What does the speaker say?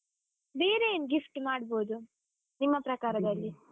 ಬೇರೆ ಏನ್ gift ಮಾಡ್ಬೋದು, ನಿಮ್ಮ ಪ್ರಕಾರದಲ್ಲಿ?